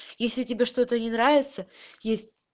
если тебе что-то не нравится есть